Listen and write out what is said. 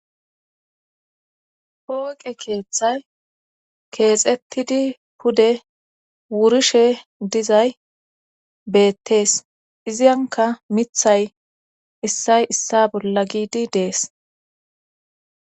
Pooqe keethay keexettidi pude wurishe dizay beettees izankka mithay issay issa bolla giidi dees.